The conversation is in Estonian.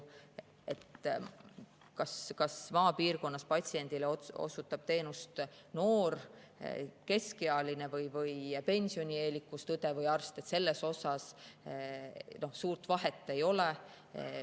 Kas maapiirkonnas osutab patsiendile teenust noor, keskealine või pensionieelikust õde või arst, selles suurt vahet ei ole.